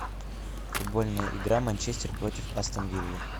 футбольная игра манчестер против астон виллы